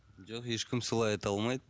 жоқ ешкім солай айта алмайды